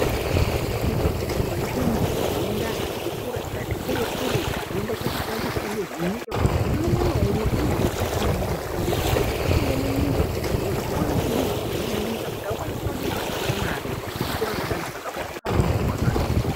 Kune nzvimbo dzinoenda anhu ati kure ati kure-kure anoenda kuofundiswa ngezvenyika kuti umwe naumwe unechipo chaanoenda kunofundiswa kuti apinde munyika azokone kudini, akone kutsvake mare akakura akadaro zvakakosha maningi pavanhu.